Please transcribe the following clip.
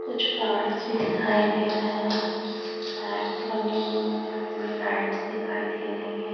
कुछ प्लांट्स भी दिखाई दे रहे हैं लाइट्स दिखाई दे रही है।